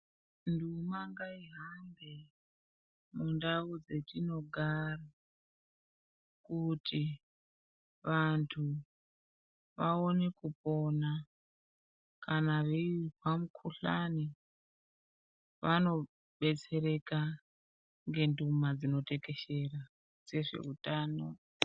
Nduma ngayihambe ,mundau dzetinogara kuti vantu vaone kupona, kana veizwa mikhuhlani vanobetsereka ngenduma dzinotekeshera dzezveutano .